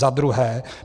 Za druhé.